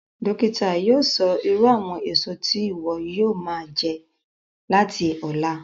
Dókítà yóò sọ irú àwọn èso tí ìwọ yóò máa jẹ láti ọ̀la